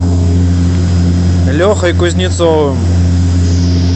лехой кузнецовым